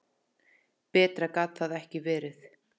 Betra gat það ekki verið.